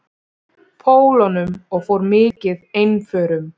Pólunum og fór mikið einförum.